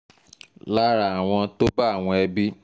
lára àwọn tó bá àwọn ẹbí t